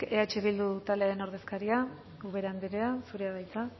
eh bildu taldearen ordezkaria ubera andrea zurea da hitza